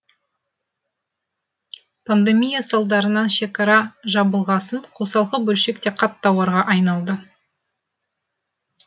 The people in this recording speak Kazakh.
пандемия салдарынан шекара жабылғасын қосалқы бөлшек те қат тауарға айналды